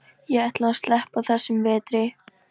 Ég ætla að sleppa þessum vetri.